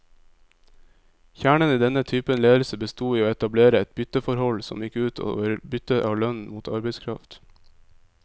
Kjernen i denne typen ledelse bestod i å etablere et bytteforhold, som gikk ut over byttet av lønn mot arbeidskraft.